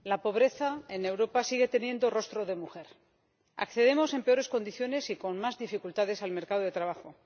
Señora Presidenta, la pobreza en Europa sigue teniendo rostro de mujer. Accedemos en peores condiciones y con más dificultades al mercado de trabajo.